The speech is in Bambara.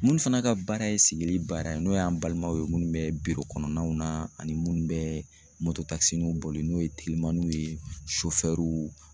Minnu fana ka baara ye sigili baara ye n'o y'an balimaw ye munnu bɛ kɔnɔnaw na ani munnu bɛ mototakisininw boli n'o ye telimaniw ye